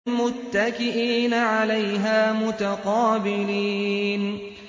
مُّتَّكِئِينَ عَلَيْهَا مُتَقَابِلِينَ